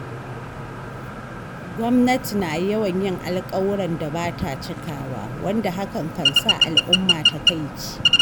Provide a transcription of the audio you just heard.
Gwamnati na yawan yin alƙawuran da ba ta cikawa, wanda hakan kan sa al'umma takaici.